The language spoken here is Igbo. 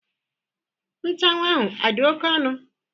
Nchuanwu ahụ adị oke ọnụ?